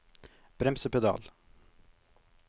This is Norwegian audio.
bremsepedal